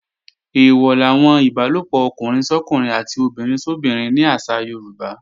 Eèwọ̀ làwọn ìbálòpọ̀ ọkùnrin sọ́kùnrin àti obìnrin sóbinrin ní àṣà Yorùbá